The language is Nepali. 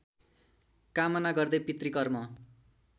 कामना गर्दै पितृकर्म